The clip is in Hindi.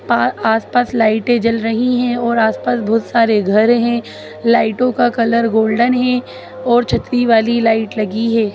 पा आसपास लाइटे जल रही है और आसपास बहुत सारे घर है लाइटो का कलर गोल्डन है और छतरी वाली लाइट लगी है।